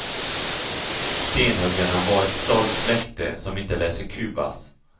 Stenhuggarna var ett stolt släkte, som inte lät sig kuvas.